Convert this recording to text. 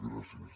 gràcies